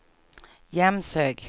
Jämshög